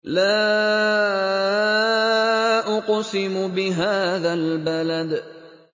لَا أُقْسِمُ بِهَٰذَا الْبَلَدِ